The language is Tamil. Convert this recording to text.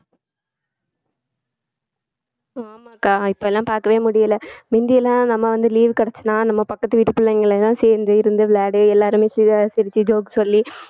ஆமாக்கா இப்ப எல்லாம் பார்க்கவே முடியலை முந்தி எல்லாம் நம்ம வந்து leave கிடைச்சுதுன்னா நம்ம பக்கத்து வீட்டு பிள்ளைங்க எல்லாம் சேர்ந்து இருந்து விளையாடி எல்லாருமே சிரி~ சிரிச்சு joke சொல்லி